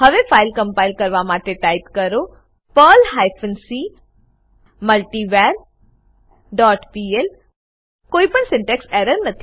હવે file compile કરવા માટે ટાઈપ કરો Perl hyphen c multivar dot pl કોઈ પણ સિન્ટેક્ષ એરર નથી